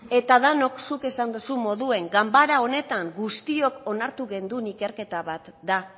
eta danok zuk esan dozun moduen ganbara honetan guztiok onartu genuen ikerketa bat da